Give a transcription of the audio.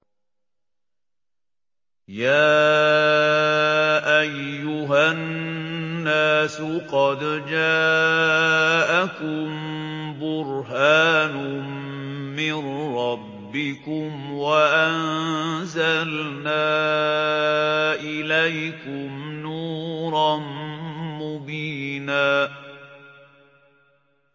يَا أَيُّهَا النَّاسُ قَدْ جَاءَكُم بُرْهَانٌ مِّن رَّبِّكُمْ وَأَنزَلْنَا إِلَيْكُمْ نُورًا مُّبِينًا